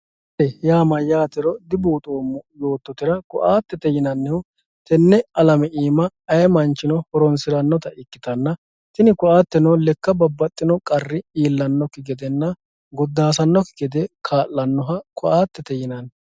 koattete yaa mayyaatero dibuuxoommo yoottotera tenne alame aana ayee manchino horonsirannota ikkitanna tini koatteno lekka babbaxino qarri iillannokki gedenna goddaasannokki gede kaa'lannoha koatte yinanni.